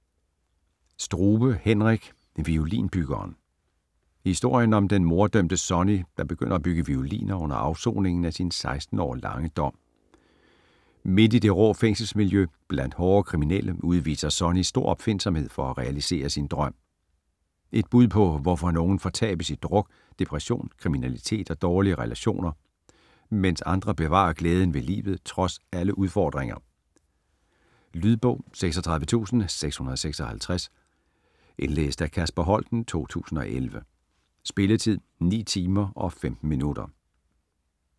Strube, Henrik: Violinbyggeren Historien om den morddømte Sonny, der begynder at bygge violiner under afsoningen af sin 16 år lange dom. Midt i det rå fængselsmiljø, blandt hårde kriminelle, udviser Sonny stor opfindsomhed for at realisere sin drøm. Et bud på hvorfor nogen fortabes i druk, depression, kriminalitet og dårlige relationer, mens andre bevarer glæden ved livet trods alle udfordringer. Lydbog 36656 Indlæst af Kasper Holten, 2011. Spilletid: 9 timer, 15 minutter.